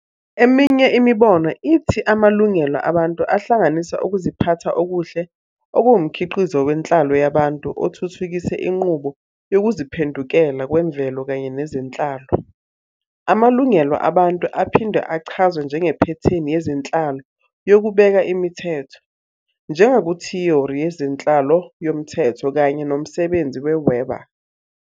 Eminye imibono ithi amalungelo abantu ahlanganisa ukuziphatha okuhle okuwumkhiqizo wenhlalo yabantu othuthukiswe inqubo yokuziphendukela kwemvelo kanye nezenhlalo. Amalungelo abantu aphinde achazwe njengephethini yezenhlalo yokubeka imithetho, njengakuthiyori yezenhlalo yomthetho kanye nomsebenzi we- Weber.